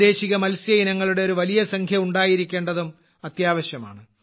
പ്രാദേശിക മത്സ്യ ഇനങ്ങളുടെ ഒരു വലിയ സംഖ്യ ഉണ്ടായിരിക്കേണ്ടതും അത്യാവശ്യമാണ്